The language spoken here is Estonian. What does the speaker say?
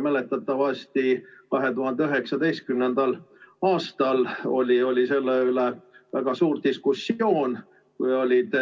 Mäletatavasti 2019. aastal oli selle üle väga suur diskussioon, kui olid